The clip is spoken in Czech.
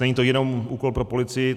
Není to jenom úkol pro policii.